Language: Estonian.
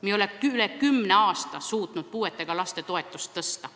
Me ei ole üle kümne aasta suutnud puuetega laste toetust tõsta.